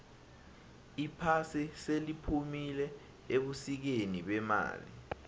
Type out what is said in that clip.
iphasi seliphumile ebusikeni bemali